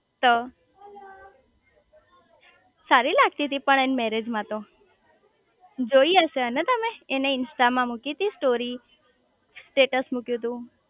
તો સારી લાગતી તી પણ એન મેરેજ માં તો જોઈ હશે હેને તમે એને ઇન્સ્ટા માં મૂકી તી સ્ટોરી સ્ટેટ્સ મૂક્યું તું